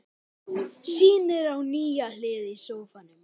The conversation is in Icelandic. Sýnir á sér nýja hlið í sófanum.